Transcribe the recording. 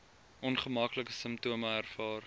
ongemaklike simptome ervaar